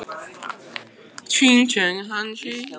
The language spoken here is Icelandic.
Margir voru farnir og núna var enginn hermaður í klaustrinu.